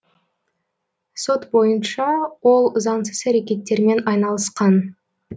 сот бойынша ол заңсыз әрекеттермен айналысқан